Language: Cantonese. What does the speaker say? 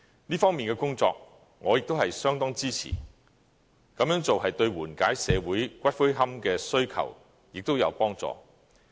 這方面的工作，我亦相當支持，這樣做對緩解社會骨灰龕的需求也有幫助。